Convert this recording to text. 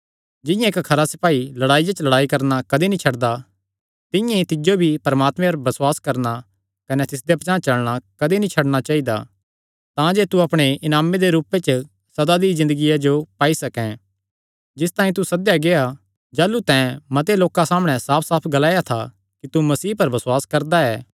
जिंआं इक्क खरा सपाई लड़ाईया च लड़ाई करणा कदी नीं छड्डदा तिंआं ई तिज्जो भी परमात्मे पर बसुआस करणा कने तिसदे पचांह़ चलणा कदी नीं छड्डणा चाइदा तांजे तू अपणे इनामे दे रूपे च सदा दी ज़िन्दगिया जो पाई सकैं जिस तांई तू सद्देया गेआ जाह़लू तैं मते लोकां सामणै साफसाफ ग्लाया था कि तू मसीह पर बसुआस करदा ऐ